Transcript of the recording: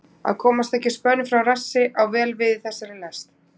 Að komast ekki spönn frá rassi á vel við í þessari lest.